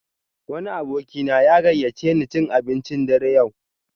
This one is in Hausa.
Wani abokina ya gayyace ni cin abincin dare yau.